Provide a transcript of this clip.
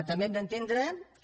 també hem d’entendre que